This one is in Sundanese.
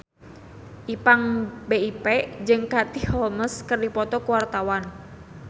Ipank BIP jeung Katie Holmes keur dipoto ku wartawan